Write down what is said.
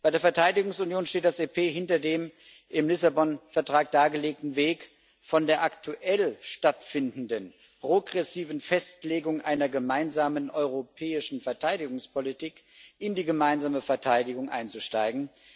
Bei der Verteidigungsunion steht das EP hinter dem im Lissabon Vertrag dargelegten Weg, von der aktuell stattfindenden progressiven Festlegung einer gemeinsamen europäischen Verteidigungspolitik in die gemeinsame Verteidigung einzusteigen.